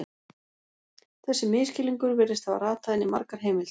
Þessi misskilningur virðist hafa ratað inn í margar heimildir.